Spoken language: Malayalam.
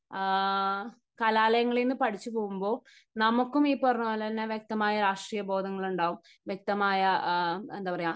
കലാലയങ്ങളിൽ നിന്ന് പഠിച്ചു പോകുമ്പോൾ നമുക്കും ഈ പറഞ്ഞ പോലെ തന്നെ വ്യക്തമായ രാഷ്ട്രീയ ബോധങ്ങൾ ഉണ്ടാകും. വ്യക്തമായ എന്താ പറയുക